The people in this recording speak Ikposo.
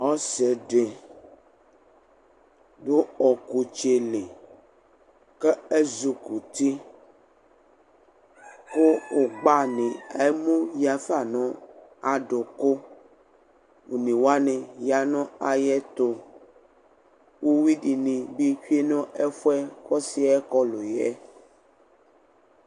Ɔsidi dʋ ɔkʋtsɛli kʋ ezi kɔ uti kʋ agba ni elʋ yafa nʋ aduku one wani yanʋ ayʋ ɛtʋ uwi dini bibtsue nʋ ɛfʋ yɛ kʋ ɔsi yɛ kɔlʋ yɛ